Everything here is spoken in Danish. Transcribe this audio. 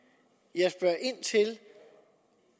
jeg spørger ind til